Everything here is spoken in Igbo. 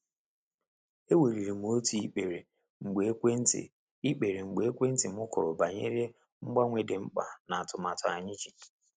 E weliri m otu ikpere mgbe ekwentị ikpere mgbe ekwentị m kụrụ banyere mgbanwe dị mkpa n'atumatu anyị ji.